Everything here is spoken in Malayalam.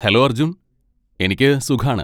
ഹലോ അർജുൻ! എനിക്ക് സുഖാണ്.